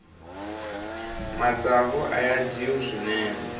matsavu aya dyiwa swinene